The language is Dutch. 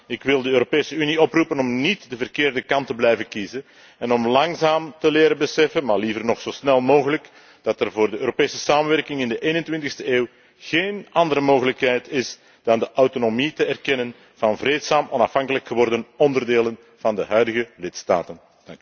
Ik wil de Europese Unie oproepen om niet de verkeerde kant te blijven kiezen en om langzaam te leren beseffen, maar liever nog zo snel mogelijk, dat er voor de Europese samenwerking in de 21e eeuw geen andere mogelijkheid is dan de autonomie te erkennen van vreedzaam onafhankelijk geworden onderdelen van de huidige lidstaten.